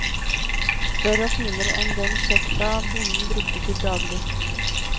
Større og finere enn den sjekta bonden brukte til daglig.